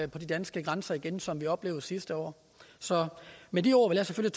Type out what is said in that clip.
de danske grænser igen som vi oplevede sidste år så med de ord vil jeg